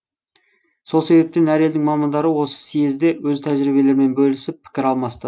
сол себептен әр елдің мамандары осы съезде өз тәжіриебелерімен бөлісіп пікір алмасты